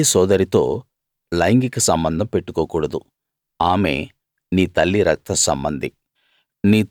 నీ తల్లి సోదరితో లైంగిక సంబంధం పెట్టుకోకూడదు ఆమె నీ తల్లి రక్తసంబంధి